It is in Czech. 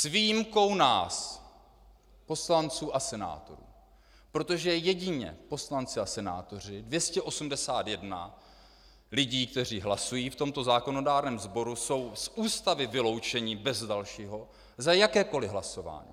S výjimkou nás, poslanců a senátorů, protože jedině poslanci a senátoři, 281 lidí, kteří hlasují v tomto zákonodárném sboru, jsou z Ústavy vyloučeni bez dalšího za jakékoliv hlasování.